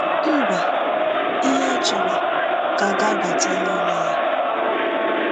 Mba, “ihe a chọrọ” ka ga-abata n’ime ya.